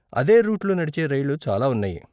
అదే రూట్లో నడిచే రైళ్ళు చాలా ఉన్నాయి.